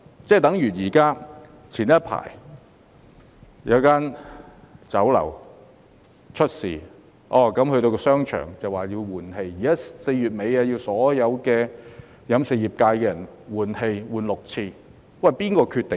早前一間位於商場的酒樓出事，需要換氣，現時要求所有食肆4月底前每小時換氣6次，這是由誰決定的？